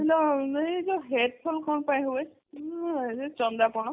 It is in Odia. ଆମର ଯୋଉ hair fall କଣ ପାଇଁ ହୁଏ ଚନ୍ଦା ପଣ